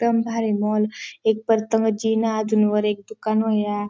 एकदम भारी मॉल एक जिना अजून वर एक दुकान या--